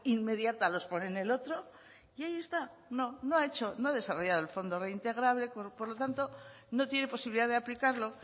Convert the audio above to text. inmediata los pone en el otro y ahí está no no ha hecho no ha desarrollado el fondo reintegrable por lo tanto no tiene posibilidad de aplicarlo